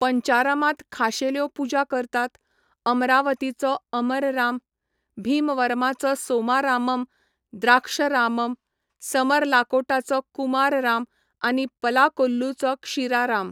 पंचारमांत खाशेल्यो पुजा करतात, अमरावतीचो अमरराम, भीमवरमाचो सोमारामम, द्राक्षरामम, समरलाकोटाचो कुमारराम आनी पलाकोल्लूचो क्षीराराम.